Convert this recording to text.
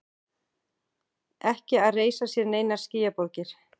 Ekki að reisa sér neinar skýjaborgir.